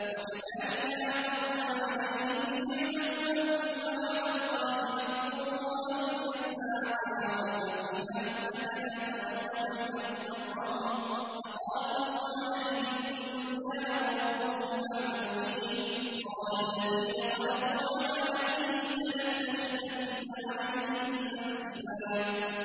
وَكَذَٰلِكَ أَعْثَرْنَا عَلَيْهِمْ لِيَعْلَمُوا أَنَّ وَعْدَ اللَّهِ حَقٌّ وَأَنَّ السَّاعَةَ لَا رَيْبَ فِيهَا إِذْ يَتَنَازَعُونَ بَيْنَهُمْ أَمْرَهُمْ ۖ فَقَالُوا ابْنُوا عَلَيْهِم بُنْيَانًا ۖ رَّبُّهُمْ أَعْلَمُ بِهِمْ ۚ قَالَ الَّذِينَ غَلَبُوا عَلَىٰ أَمْرِهِمْ لَنَتَّخِذَنَّ عَلَيْهِم مَّسْجِدًا